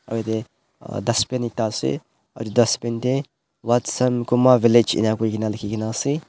Aro yatheh uhh dustbin ekta ase uhh dustbin dae Watson Kuma village eni koina lekhikena ase.